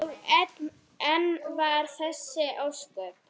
Og enn vara þessi ósköp.